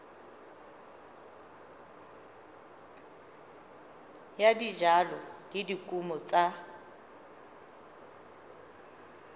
ya dijalo le dikumo tsa